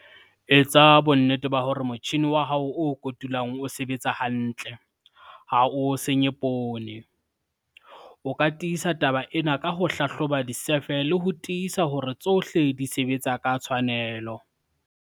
Etsa bonnete hore motjhine wa hao o kotulang o sebetsa hantle, ha o senye poone. O ka tiisa taba ena ka ho hlahloba disefe le ho tiisa hore tsohle di sebetsa ka tshwanelo.